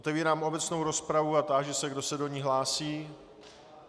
Otevírám obecnou rozpravu a táži se, kdo se do ní hlásí.